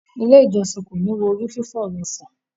Ile ìjósìn ko ni wo ori fifọ rẹ san.